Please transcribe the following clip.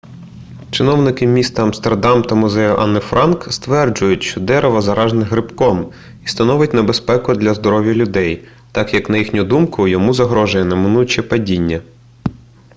чиновники міста амстердам та музею анни франк стверджують що дерево заражене грибком і становить небезпеку для здоров'я людей так як на їхню думку йому загрожує неминуче падіння